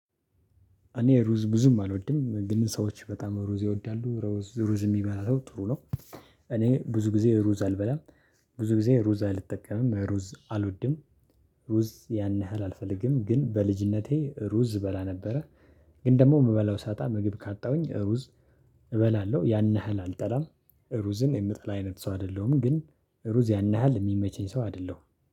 እኔ ሩዝ ብዙም አልወድም ግን ሰዎች በጣም ሩዝ ይወዳሉ ሩዝ የሚበላ ሰው ጥሩ ነው። እኔ ብዙ ጊዜ ሩዝ አልበላም፣ ብዙ ጊዜ ሩዝ አልጠቀምም፣ ሩዝ አልወድም። ሩዝ ያን ያህል አልፈልግም ግን በልጅነቴ ሩዝ እበላ ነበረ፣ ግን ደግሞ የምበላው ሳጣ ምግብ ካጣሁኝ ሩዝ እበላለሁ፣ ያን ያህል አልጠላም ሩዝን የምጠላ አይነት ሰው አይደለሁም፣ ግን ሩዝ ያን ያህል የሚመቸኝ ሰው አይደለሁም።